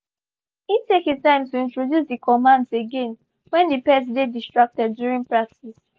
he take he time to introduce the commands again when the pet dey distracted during practice